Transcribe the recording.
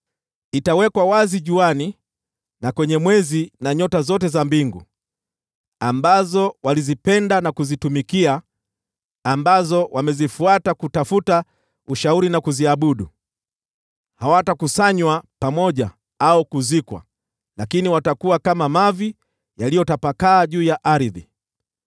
Itawekwa wazi kwa jua, na mwezi, na nyota zote za mbingu, ambazo walizipenda na kuzitumikia, na ambazo wamezifuata kutafuta ushauri na kuziabudu. Hawatakusanywa pamoja au kuzikwa, lakini watakuwa kama mavi yaliyotapakaa juu ya ardhi.